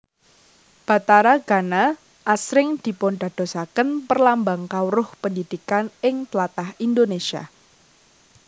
Bathara Gana asring dipundadosaken perlambang kawruh pendhidhikan ing tlatah Indonésia